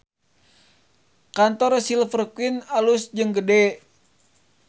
Kantor Silver Queen alus jeung gede